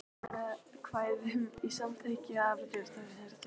Lýkur sér af.